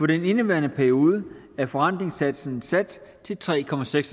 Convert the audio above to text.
den indeværende periode er forrentningssatsen sat til tre procent